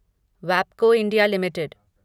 वैबको India limited